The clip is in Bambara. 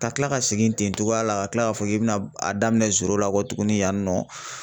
Ka kila ka segin ten cogoya la ka tila k'a fɔ k'i bɛna a daminɛ la kɔ tuguni yan nɔ ,